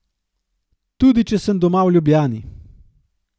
Tudi če sem doma v Ljubljani.